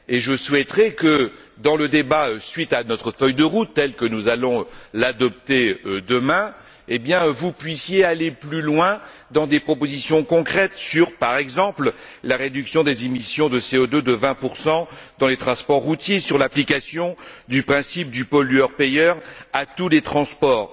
Je souhaiterais qu'au cours du débat, suite à notre feuille de route telle que nous allons l'adopter demain, vous puissiez aller plus loin dans des propositions concrètes sur, par exemple, la réduction des émissions de CO2 de 20 dans les transports routiers et sur l'application du principe du pollueur payeur à tous les transports.